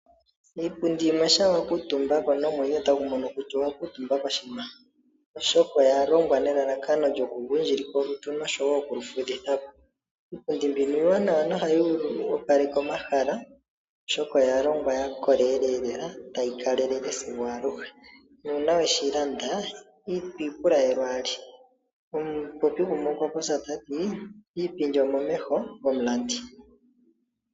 Iipundi yimwe shampa wa kuutumba ko nomwenyo otagu mono kutya owa kuutumba koshinima, oshoka oya longwa nelalakano lyoku gundjilika olutu nosho wo okuli fudhithapo. Iipundi mbino iiwanawa no hayi opaleke omahala oshoka oya longwa yakolelela tayi kale lele sigo aluhe. Na uuna weshi landa itwiipula we lwaali. Omupopi gumwe okwa popya tati iipindi omomeho gomulandi.